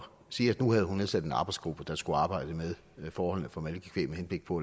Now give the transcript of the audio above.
sige at nu havde hun nedsat en arbejdsgruppe der skulle arbejde med forholdene for malkekvæg med henblik på